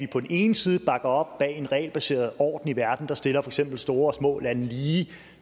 på den ene side bakker op bag en regelbaseret orden i verden der stiller eksempel store og små lande lige